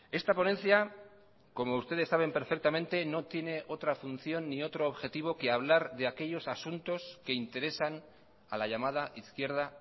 esta ponencia como ustedes saben perfectamente no tiene otra función ni otro objetivo que hablar de aquellos asuntos que interesan a la llamada izquierda